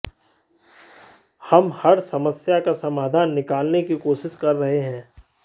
हम हर समस्या का समाधान निकालने की कोशिश कर रहे हैं